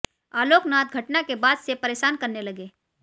आलोक नाथ घटना के बाद से परेशान करने लगे